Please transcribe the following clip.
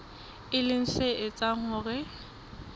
e leng se etsang hore